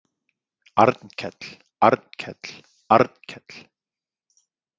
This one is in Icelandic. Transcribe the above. Arnkell, Arnkell, Arnkell.